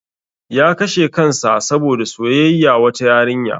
Ya kashe kansa saboda soyayya wata yariya.